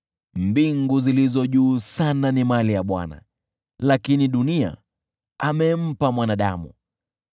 Mbingu zilizo juu sana ni mali ya Bwana , lakini dunia amempa mwanadamu.